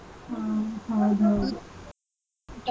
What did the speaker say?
ಹ್ಮ್ ಹ್ಮ್ ಹ್ಮ್ .